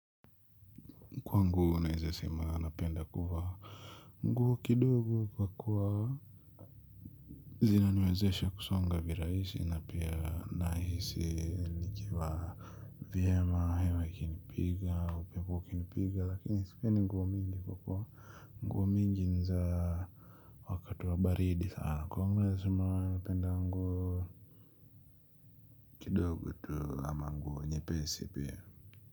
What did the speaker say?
Kwangu naezasema napenda kuvaa nguo kidogo kwa kuwa zina niwezeshe kusonga viraisi na pia nahisi nikiwa vyema hewa ikinipiga upepo ukinipiga lakini sipendi nguo mingi kwa kuwa nguo mingi naeza wakati wa baridi sana kwangu naeza sema napenda nguo. Kwa nguo naizasema anapenda nguo kidogo tu ama nguo nyepesi pia.